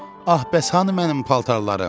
Ah bəs hanı mənim paltarlarım?